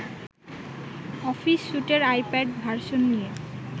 office স্যুটের iPad version নিয়ে